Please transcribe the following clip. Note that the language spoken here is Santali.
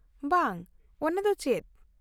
ᱼᱵᱟᱝ, ᱚᱱᱟ ᱫᱚ ᱪᱮᱫ ?